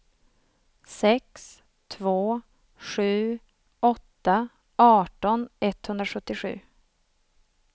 sex två sju åtta arton etthundrasjuttiosju